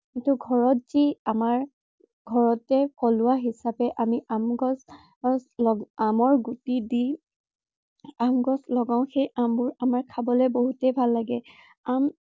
কিন্তু ঘৰত যি আমাৰ ঘৰতে থলুৱা হিচাপে আমাৰ আম গছ, আমৰ গুটি দি আম গছ লগাও সেই আমবোৰ খাবলৈ বহুতেই ভাল লাগে।